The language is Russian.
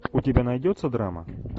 у тебя найдется драма